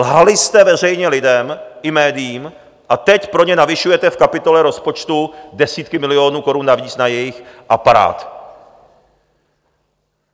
Lhali jste veřejně lidem i médiím a teď pro ně navyšujete v kapitole rozpočtu desítky milionů korun navíc na jejich aparát.